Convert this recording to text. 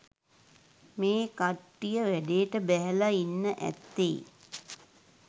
මේ කට්ටිය වැඩේට බැහැලා ඉන්න ඇත්තේ.